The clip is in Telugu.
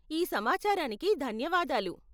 ఈ సమాచారానికి ధన్యవాదాలు.